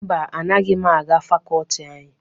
Mba, anaghị m aga fakọọti anyị.